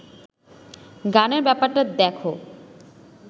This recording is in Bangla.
গানের ব্যাপারটা দেখো